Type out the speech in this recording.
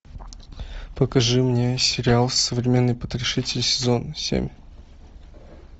покажи мне сериал современный потрошитель сезон семь